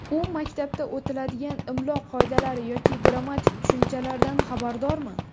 U maktabda o‘tiladigan imlo qoidalari yoki grammatik tushunchalardan xabardormi?!